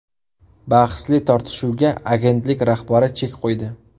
Bahsli tortishuvga agentlik rahbari chek qo‘ydi.